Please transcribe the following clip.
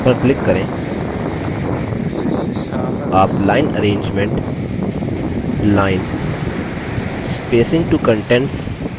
आप line arrangement line spacing to contents और shadow style के लिए options देखेंगे